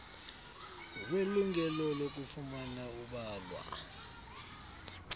welungelo lokufumana ubalwa